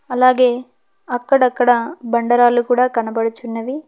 అలాగే అక్కడక్కడ బండరాళ్లు కూడా కనబడుచున్నవి.